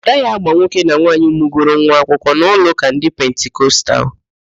A gaghị agba nwoke na nwaanyị mụgoro nwa akwụkwọ n'ụlọụ́kà ndị Pentikostal